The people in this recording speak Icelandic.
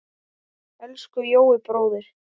Elsku Jói bróðir.